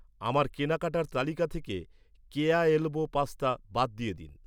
আমার কেনাকাটার তালিকা থেকে, কেয়া এলবো পাস্তা বাদ দিয়ে দিন।